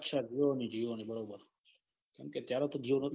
અચ્છા જીઓની જીઓની બરોબર કમ કે અત્યારે તો જીઓ નો હતા